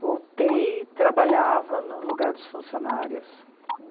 Voltei e trabalhava no lugar dos funcionários.